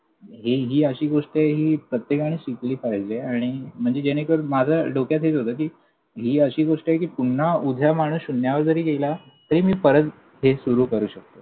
हि हि अशी गोष्ट आहे हि प्रत्येकाने शिकली पाहिजे. आणि म्हणजे जेनेकरून माझं डोक्यात हेच होतं कि, हि अशी गोष्ट आहे कि उद्या माणूस पुन्हा शून्यावर गेला तरी मी परत हे सुरू करू शकतो.